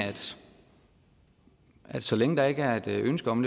at så længe der ikke er et ønske om